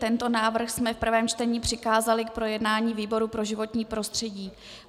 Tento návrh jsme v prvém čtení přikázali k projednání výboru pro životní prostředí.